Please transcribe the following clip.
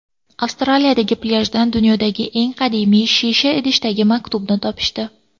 Avstraliyadagi plyajdan dunyodagi eng qadimiy shisha idishdagi maktubni topishdi.